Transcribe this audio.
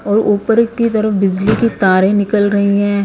और ऊपर की तरफ बिजली की तारें निकल रही हैं ।